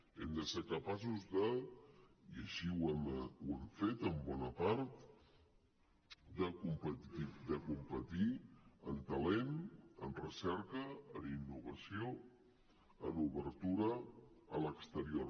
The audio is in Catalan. hem de ser capaços de i així ho hem fet en bona part competir en talent en recerca en innovació en obertura a l’exterior